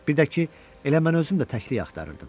Bir də ki, elə mən özüm də təklik axtarırdım.